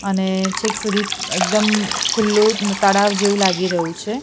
અને છેક સુધી એકદમ ખુલ્લુ તળાવ જેવુ લાગી રહ્યુ છે.